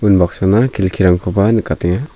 unbaksana kelkirangkoba nikatenga.